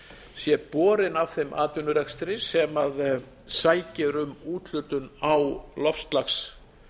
sé borinn af þeim atvinnurekstri sem sækir um úthlutun á loftslags